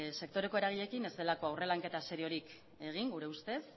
sektoreko eragileekin ez delako aurre lanketa seriorik egin gure ustez